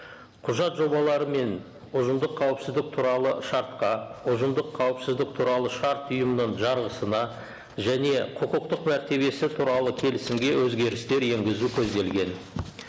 құжат жобалары мен ұжымдық қауіпсіздік туралы шартқа ұжымдық қауіпсіздік туралы шарт ұйымының жарғысына және құқықтық мәртебесі туралы келісімге өзгерістер енгізу көзделген